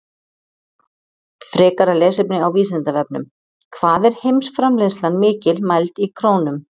Frekara lesefni á Vísindavefnum: Hvað er heimsframleiðslan mikil, mæld í krónum?